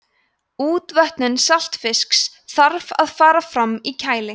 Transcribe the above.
útvötnun saltfisks þarf að fara fram í kæli